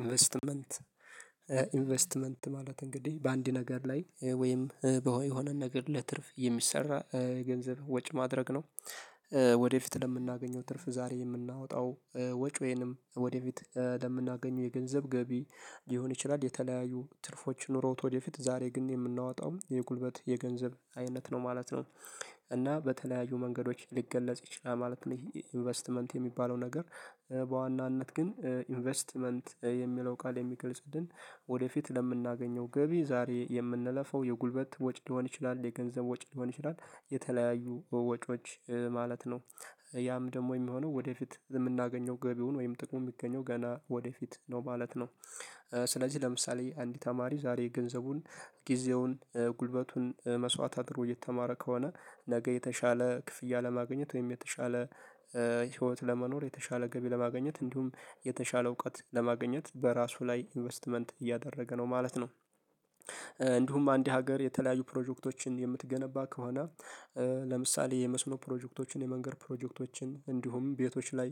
ኢንቨስትመንት ኢንቨስትመንት ማለት እንግዲህ በአንድ ነገር ላይ ወይም የሆነ ነገር ለትርፍ የሚሰራ ገንዘብ ወጭ ማድረግ ነው። ወደፊት ለምናገኘው ትርፍ ዛሬ የምናወጣው ወጪ ወይንም ወደፊት ለምናገኘው የገንዘብ ገቢ ሊሆን ይችላል። የተለያዩ ትርፎች ኑሮት ወደፊት ዛሬ ግን የምናወጣው የጉልበት የገንዘብ አይነት ነው ማለት ነው። እና በተለያዩ መንገዶች ሊገለጽ ይችላል ማለት ነው። ይሄ ኢንቨስትመንት የሚባለው ነገር- በዋናነት ግን ኢንቨስትመንት የሚለው ቃል የሚገልጽልን ወደፊት ለምናገኘው ገቢ ዛሬ የምንለፈው የጉልበት ወጪ ሊሆን ይችላል። የገንዘብ ወጪ ሊሆን ይችላል። የተለያዩ ወጪዎች ማለት ነው። ያም ደግሞ የሚሆነው ወደፊት የምናገኘው ገቢውን ወይም ጥቅሙ የሚገኘው ገና ወደፊት ነው ማለት ነው። ስለዚህ ለምሳሌ አንድ ተማሪ ዛሬ ገንዘቡን ጊዜውን ጉልበቱን መስዋዕት አድሮ እየተማረ ከሆነ ነገ የተሻለ ክፍያ ለማግኘት ወይም የተሻለ- ህይወት ለመኖር የተሻለ ገቢ ለማግኘት። እንዲሁም የተሻለ እውቀት ለማግኘት በራሱ ላይ ኢንቨስትመንት እያደረገ ነው ማለት ነው። እንዲሁም አንድ ሀገር የተለያዩ ፕሮጀክቶችን የምትገነባ ከሆነ- ለምሳሌ የመስኖ ፕሮጀክቶችን :የመንገድ ፕሮጀክቶችን እንዲሁም ቤቶች ላይ